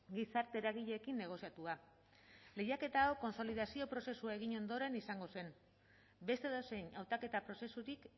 gizarte eragileekin negoziatua lehiaketa hau kontsolidazio prozesua egin ondoren izango zen beste edozein hautaketa prozesurik